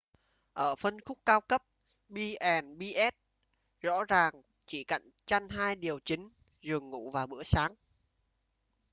ở phân khúc cao cấp b&bs rõ ràng chỉ cạnh tranh hai điều chính: giường ngủ và bữa sáng